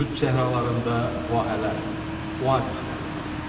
Qütb səhralarında vahələr, oazislər yaranır.